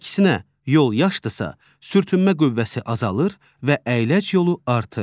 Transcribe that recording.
Əksinə, yol yaşdırsa, sürtünmə qüvvəsi azalır və əyləc yolu artır.